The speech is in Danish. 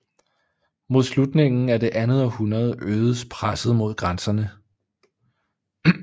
Mod slutningen af det andet århundrede øgedes presset mod grænserne